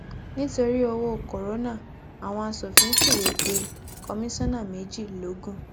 nítorí owó corona àwọn asòfin fìwé pe kọsánńà méjì logun